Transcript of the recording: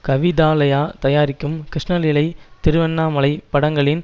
கவிதாலயா தயாரிக்கும் கிருஷ்ணலீலை திருவண்ணாமலை படங்களின்